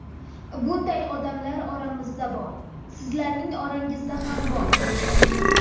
Bunday odamlar oramizda bor, sizlarning orangizda ham bor.